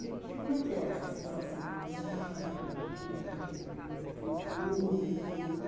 E o que como é que é essa sensação para você de entrar na Avenida e ter o público?